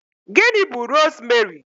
Gịnị bú rosmeri?